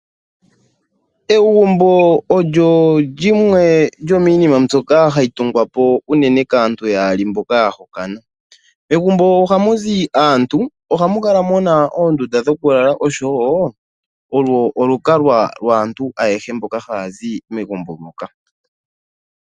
Egumbo olyo oshinima shoka hashi tungwapo unene kaantu yaali yahokana. Megumbo oha muzi aantu ohamu kala muna oondunda dhokulala, lyo olukalwa lwaantu ayehe mboka hayazi megumbo moka.